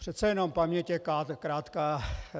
Přece jenom paměť je krátká.